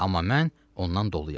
Amma mən ondan doluyam.